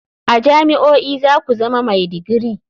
A jami'o'i za ku zama mai digiri.